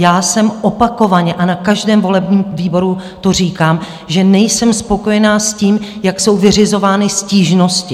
Já jsem opakovaně, a na každém volebním výboru to říkám, že nejsem spokojena s tím, jak jsou vyřizovány stížnosti.